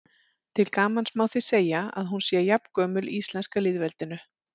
Til gamans má því segja að hún sé jafngömul íslenska lýðveldinu.